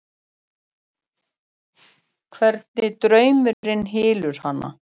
Hvernig draumurinn hylur hana.